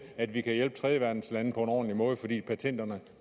at vi kan hjælpe tredjeverdenslande på en ordentlig måde fordi patenterne